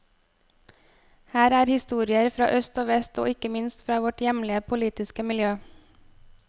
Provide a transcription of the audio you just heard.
Her er historier fra øst og vest og ikke minst fra vårt hjemlige politiske miljø.